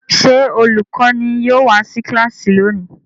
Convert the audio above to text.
Ṣé olùkọ́ní yóò wá sí kíláàsì lónìí?